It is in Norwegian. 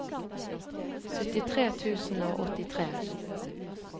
syttitre tusen og åttitre